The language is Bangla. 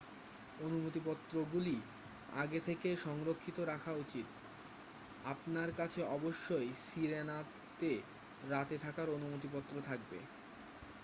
অনুমতি পত্র গুলি আগে থেকেই সংরক্ষিত রাখা উচিত আপনার কাছে অবশই সিরেনাতে রাতে থাকার অনুমতি পত্র থাকতে হবে